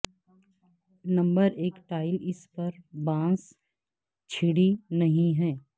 number ایک tile اس پر بانس چھڑی نہیں ہے